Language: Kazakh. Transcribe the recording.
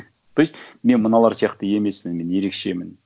то есть мен мыналар сияқты емеспін мен ерекшемін